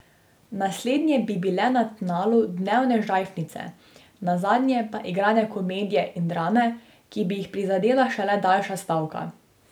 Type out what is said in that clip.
Naslednje bi bile na tnalu dnevne žajfnice, nazadnje pa igrane komedije in drame, ki bi jih prizadela šele daljša stavka.